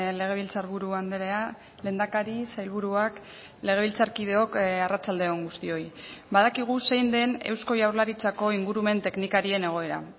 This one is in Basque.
legebiltzarburu andrea lehendakari sailburuak legebiltzarkideok arratsalde on guztioi badakigu zein den eusko jaurlaritzako ingurumen teknikarien egoera